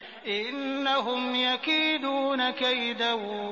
إِنَّهُمْ يَكِيدُونَ كَيْدًا